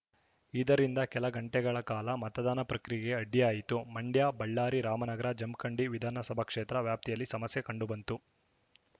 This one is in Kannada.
ಇದರಿಂದ ಕೆಲ ಗಂಟೆಗಳ ಕಾಲ ಮತದಾನ ಪ್ರಕ್ರಿಯೆಗೆ ಅಡ್ಡಿಯಾಯಿತು ಮಂಡ್ಯ ಬಳ್ಳಾರಿ ರಾಮನಗರ ಜಮಖಂಡಿ ವಿಧಾನಸಭಾ ಕ್ಷೇತ್ರ ವ್ಯಾಪ್ತಿಯಲ್ಲಿ ಸಮಸ್ಯೆ ಕಂಡುಬಂತು